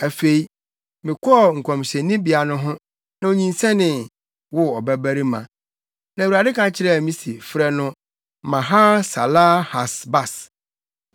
Afei mekɔɔ nkɔmhyɛnibea no ho, na onyinsɛnee, woo ɔbabarima. Na Awurade ka kyerɛɛ me se, “Frɛ no Maher-Salal-Has-Bas.